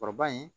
Kɔrɔba in